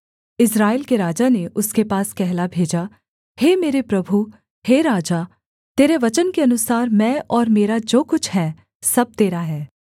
इस्राएल के राजा ने उसके पास कहला भेजा हे मेरे प्रभु हे राजा तेरे वचन के अनुसार मैं और मेरा जो कुछ है सब तेरा है